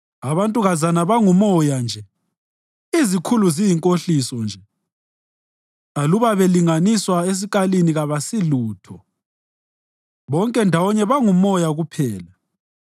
Abantukazana bangumoya nje, izikhulu ziyinkohliso nje; aluba belinganiswa esikalini kabasilutho; bonke ndawonye bangumoya kuphela.